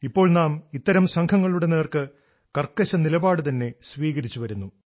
ഇപ്പോൾ നാം ഇത്തരം സംഘങ്ങളുടെ നേർക്ക് കർക്കശ നിലപാട് തന്നെ സ്വീകരിച്ചു വരുന്നു